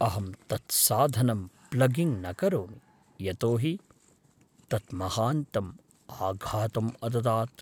अहं तत् साधनं प्लगिङ्ग् न करोमि, यतोहि तत् महान्तम् आघातम् अददात्।